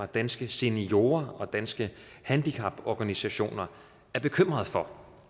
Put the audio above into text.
danske seniorer og danske handicaporganisationer er bekymrede for